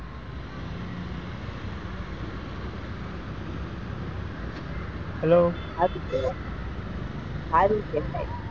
hello સારું કેવાય,